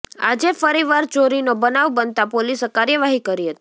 આજે ફરીવાર ચોરીનો બનાવ બનતાં પોલીસે કાર્યવાહી કરી હતી